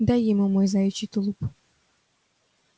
дай ему мой заячий тулуп